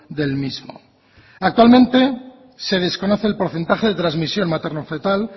del mismo actualmente se desconoce el porcentaje de trasmisión materno fetal